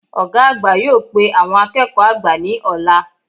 Ògá àgbà yóò pe àwon akéèkó àgbà ní òla